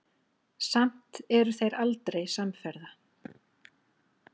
Samt eru þeir aldrei samferða.